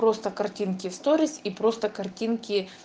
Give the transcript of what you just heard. просто картинки в сторис и просто картинки